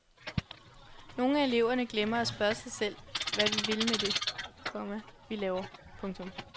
Nogle af eleverne glemmer at spørge sig selv hvad vi vil med det, komma vi laver. punktum